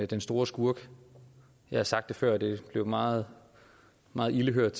den store skurk jeg har sagt det før og det var meget meget ilde hørt